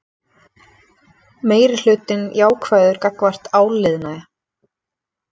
Meirihlutinn jákvæður gagnvart áliðnaði